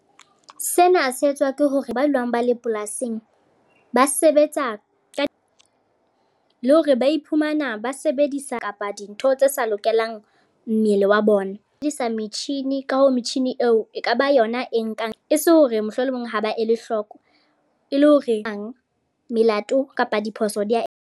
Sena se etswa ke hore ba nwang ba le polasing. Ba sebetsa ka, le hore ba iphumana ba sebedisa kapa dintho tse sa lokelang mmele wa bona. Ba sebedisa metjhini ka ho metjhini eo, e kaba yona e nkang. E se hore mohlolomong ha ba ele hloko. E le hore hang melato kapa diphoso di a.